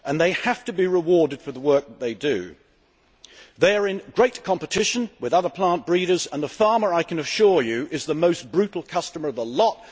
They have to be rewarded for the work that they do. They are in great competition with other plant breeders and the farmer, I can assure you, is the most brutal customer of the lot.